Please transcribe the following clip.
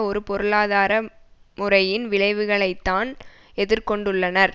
ஒரு பொருளாதார முறையின் விளைவுகளைத்தான் எதிர் கொண்டுள்ளனர்